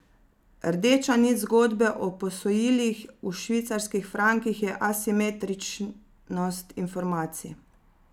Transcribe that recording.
Rdeča nit zgodbe o posojilih v švicarskih frankih je asimetričnost informacij.